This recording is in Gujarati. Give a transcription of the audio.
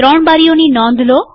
૩ બારીઓનીં નોંધ લો